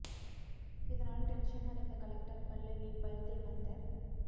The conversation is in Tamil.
இதனால் டென்ஷன் அடைந்த கலெக்டர் பல்லவி பல்தேவ் அந்த